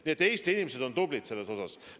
Nii et Eesti inimesed on selles osas tublid.